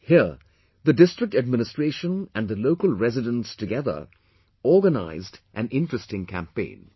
Here, the district administration and the local residents together organized an interesting campaign